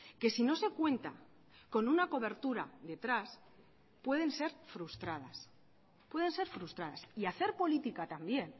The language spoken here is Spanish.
que si no se cuenta con una cobertura detrás pueden ser frustradas pueden ser frustradas y hacer política también